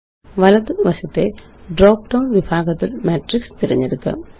വലതു വശത്തെ drop down വിഭാഗത്തില് മാട്രിക്സ് തിരഞ്ഞെടുക്കാം